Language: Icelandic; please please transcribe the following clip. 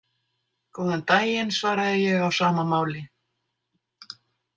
Góðan daginn, svaraði ég á sama máli.